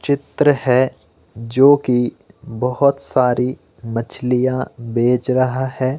चित्र है जो की बहोत सारी मछलियां बेच रहा है।